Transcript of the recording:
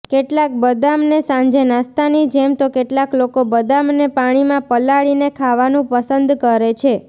કેટલાક બદામને સાંજે નાસ્તાની જેમ તો કેટલાક લોકો બદામને પાણીમાં પલાળીને ખાવાનું પસંદ કરે છે